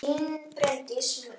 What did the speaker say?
Þín Bryndís Muggs.